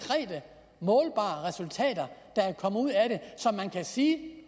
målbare resultater der er kommet ud af det som man kan sige